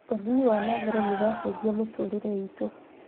ũthĩĩ wa na mbere nĩ ũracenjia mĩtũrĩre itũ